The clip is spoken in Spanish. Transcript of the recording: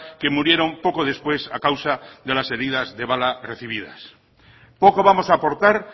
que murieron poco después a causa de las heridas de bala recibidas poco vamos a aportar